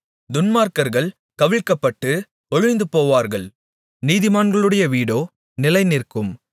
துன்மார்க்கர்கள் கவிழ்க்கப்பட்டு ஒழிந்துபோவார்கள் நீதிமான்களுடைய வீடோ நிலைநிற்கும்